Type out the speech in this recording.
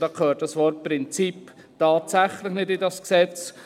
Und dabei gehört das Wort «Prinzip» tatsächlich nicht in dieses Gesetz.